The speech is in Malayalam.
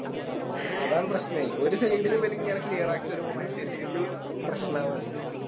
അതാണ് പ്രശ്ശനെ ഒരു Side ല് ഇവലിങ്ങനെ Clear ആക്കി വരുമ്പോ മറ്റേ Side ല് പ്രശ്നവാണ്